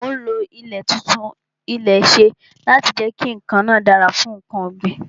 Mo lo ọ̀nà títún ilẹ̀ ṣe láti jẹ kí ilè náà dára fún nkan ọ̀ gbìn